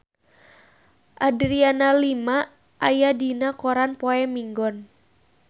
Adriana Lima aya dina koran poe Minggon